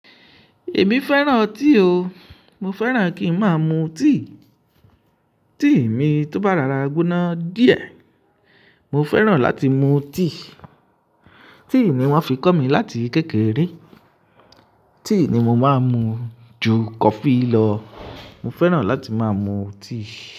Èmi fẹ́ràn tea o. Mo fẹ́ràn kí ń máa mu tea. Tea mi tó bá rorá gboná díẹ̀, mo fẹ́ràn láti mu tea. Tíì ni wọ́n fi kọ́ mi láti kékeré. Tea ni mo máa ń mu ju coffee lọ. Mo fẹ́ràn láti máa mu tíì.